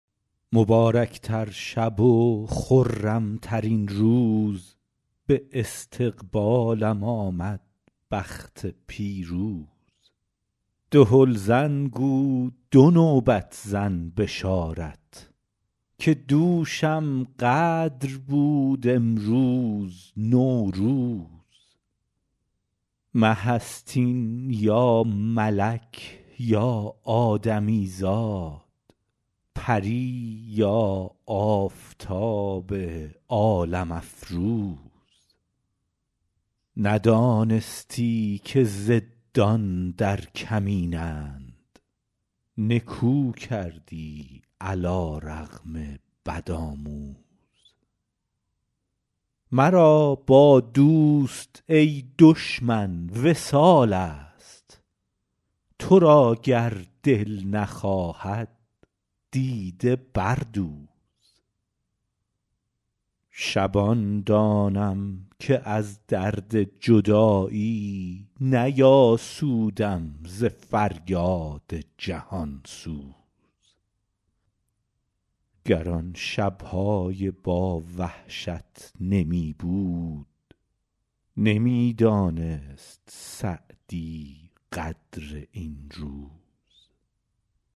مبارک تر شب و خرم ترین روز به استقبالم آمد بخت پیروز دهل زن گو دو نوبت زن بشارت که دوشم قدر بود امروز نوروز مه است این یا ملک یا آدمی زاد پری یا آفتاب عالم افروز ندانستی که ضدان در کمینند نکو کردی علی رغم بدآموز مرا با دوست ای دشمن وصال است تو را گر دل نخواهد دیده بردوز شبان دانم که از درد جدایی نیاسودم ز فریاد جهان سوز گر آن شب های با وحشت نمی بود نمی دانست سعدی قدر این روز